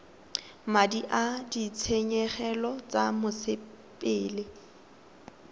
madi a ditshenyegelo tsa mosepele